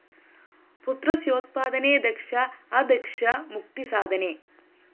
പുത്രസ്യോത്പാദനേ ദക്ഷാ അദക്ഷാ മുക്തിസാധനേ